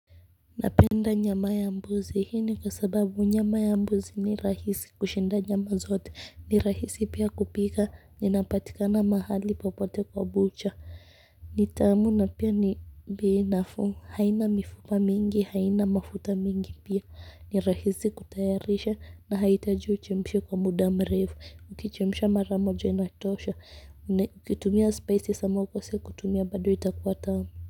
Napenda nyama ya mbuzi hii ni kwa sababu nyama ya mbuzi ni rahisi kushinda nyama zote ni rahisi pia kupika na inapatikana mahali popote kwa bucha ni tamu na pia ni bei nafuu haina mifupa mingi haina mafuta mingi pia ni rahisi kutayarisha na haihitaji uchemshe kwa muda mrefu ukichemsha mara moja inatosha kutumia spices ama ukose kutumia bado itakuwa tamu.